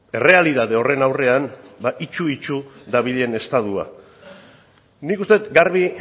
errealitate horren aurrean ba itsu itsu dabilen estatua nik uste det garbi